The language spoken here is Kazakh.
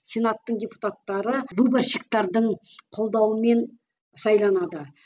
сенаттың депутаттары выборщиктердің қолдауымен сайланады